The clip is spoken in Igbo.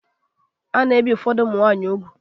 A na-ebi ụfọdụ ụmụ nwanyị úgwù.